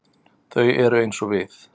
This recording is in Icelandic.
Þau eru eins og við.